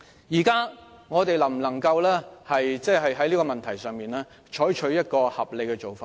現在我們能否在這個問題上採取合理的做法？